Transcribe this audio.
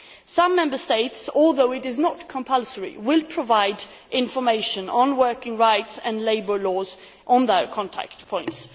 Some Member States although it is not compulsory will provide information on working rights and labour laws at their contact points.